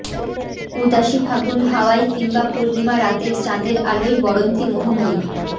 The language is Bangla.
উদাসী ফাগুন হাওয়ায় কিংবা পূর্ণিমা রাতের চাঁদের আলোয় বড়ন্তি মোহময়ী